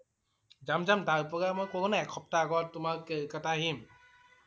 যাম যাম। তাৰ পৰা মই কলো না এক সপ্তাহ আগত তোমাৰ কলিকতা আহিম।